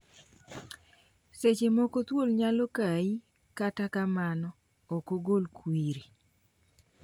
Seche moko thuol nyalo kai kata kamano ok ogol kwiri.